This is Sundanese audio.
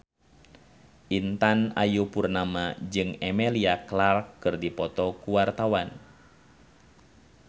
Intan Ayu Purnama jeung Emilia Clarke keur dipoto ku wartawan